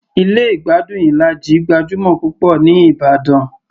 Ilé ìgbádùn Ilaji gbajúmọ̀ púpọ̀ ní ìbàdàn